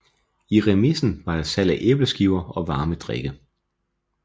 I remisen var der salg af æbleskiver og varme drikke